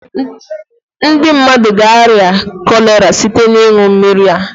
Ndị mmadụ ga arịa cholera site na ịṅụ mmiri a